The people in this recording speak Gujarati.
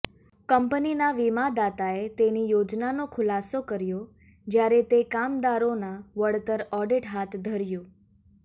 કંપનીના વીમાદાતાએ તેની યોજનાનો ખુલાસો કર્યો જ્યારે તે કામદારોના વળતર ઓડિટ હાથ ધર્યું